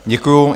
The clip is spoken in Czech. Děkuju.